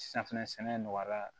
Safinɛ sɛnɛ nɔgɔyara